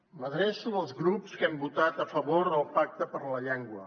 m’adreço als grups que hem votat a favor del pacte per la llengua